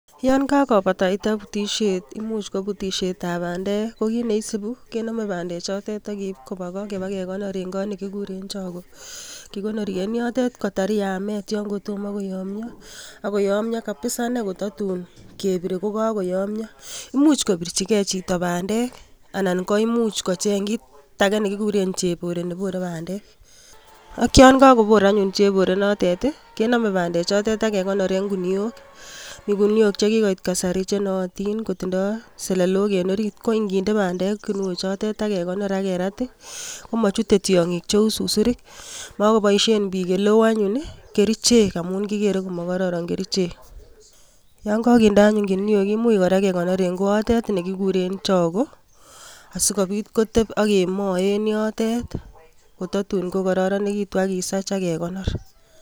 Yon kakobataitai butisiet imuch kobutisiet ab bandek, ko kit neisibu kenome bandek chotet, ak keib kobaa goo. Ibakekonoor en kot nekikuuren chogoo. Kikonorii en yotet kotar yamet, yon kotomo koyomyoo nee ak kobakach koyoomyoo kabisa, tatu kebire kokayoomyo. Imuch kobirchigei chito bandek, anan koimuch kocheng kitage nekikuuren chebore nebore bandek. Ak yon kakoboor anyun chebore inter, kenome bandek chotet ak kekonooren ginuok. Mi guniok chekikoit kasari, chenootin kotindo selelok en orit, ko inginde bandek ginuok chotet, ak kekonooren kerat i,komochute tiong'iik cheu susuriik. Mokoboishien bik eleo anyun kerichek, amun kigere komokororon kerichek. Yon kakinde anyun ginuok koimuch kekonoor en koatet nekikuur en choggoo, asikibit kotebii ak keboe en yotet. Kotatun kokororonekitun ak kisach ak kekonoor.